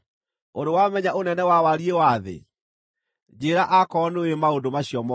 Ũrĩ wamenya ũnene wa wariĩ wa thĩ? Njĩĩra akorwo nĩũũĩ maũndũ macio mothe.